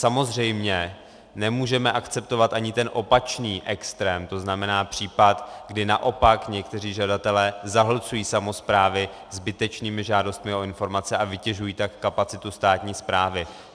Samozřejmě nemůžeme akceptovat ani ten opačný extrém, to znamená případ, kdy naopak někteří žadatelé zahlcují samosprávy zbytečnými žádostmi o informace a vytěžují tak kapacitu státní správy.